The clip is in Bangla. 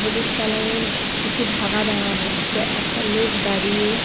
হলুদ কালার -এর কিছু ঢাকা দেওয়া হচ্ছে একটা লোক দাঁড়িয়ে--